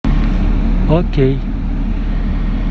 окей